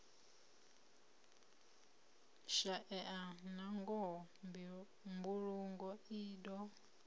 shaeya nangoho mbulungo i do